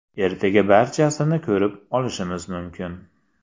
Ertaga barchasini ko‘rib olishimiz mumkin”.